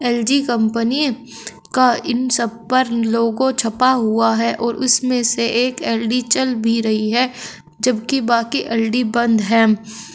LG company का इन सब पर लोगों छपा हुआ है और इसमें से एक एल_इ_डी चल भी रही है जबकि बाकी एल_ई_डी बंद है।